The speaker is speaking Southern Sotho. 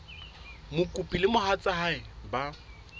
mokopi le mohatsa hae ba